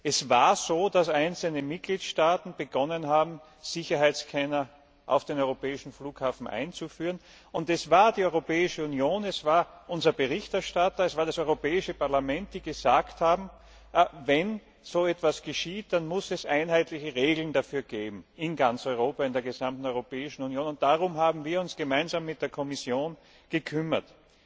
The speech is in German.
Es war so, dass einzelne Mitgliedstaaten begonnen haben, Sicherheitsscanner auf europäischen Flughäfen einzuführen. Es war die Europäische Union, es war unser Berichterstatter, es war das Europäische Parlament, die gesagt haben Wenn so etwas geschieht, dann muss es dafür einheitliche Regeln in ganz Europa, in der gesamten Europäischen Union geben. Darum haben wir uns gemeinsam mit der Kommission gekümmert.